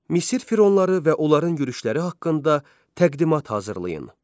Misir fironları və onların yürüşləri haqqında təqdimat hazırlayın.